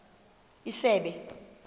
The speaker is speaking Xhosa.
isebe